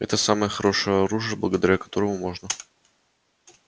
это самое хорошее оружие благодаря которому можно